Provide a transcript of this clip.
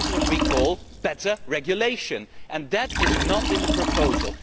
That is what we call better regulation, and that is not in the proposal.